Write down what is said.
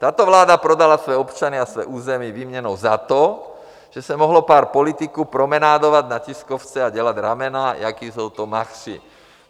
Tato vláda prodala své občany a své území výměnou za to, že se mohlo pár politiků promenovat na tiskovce a dělat ramena, jací jsou to machři.